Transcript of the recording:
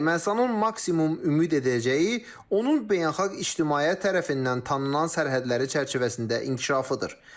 Ermənistanın maksimum ümid edəcəyi, onun beynəlxalq ictimaiyyət tərəfindən tanınan sərhədləri çərçivəsində inkişafıdır.